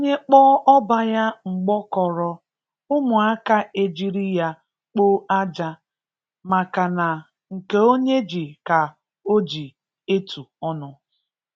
Onye kpọọ ọba ya mgbọkọrọ ụmụaka e jiri ya kpoo aja. maka na nke onye ji ka oji etu ọnụ.